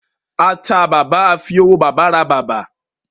A tà bàbà, a fi owó bàbà ra bàbá